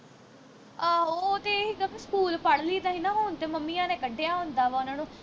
ਆਹੋ ਓਹ ਤੇ ਅਹੀ ਸਕੂਲ ਪੜ੍ਹ ਲਈ ਦਾ ਹੀ ਨਾ ਹੁਣ ਤੇ ਮੰਮੀਆਂ ਨੇ ਕੱਢਿਆਂ ਹੁੰਦਾ ਵਾ ਉਨ੍ਹਾਂ ਨੂੰ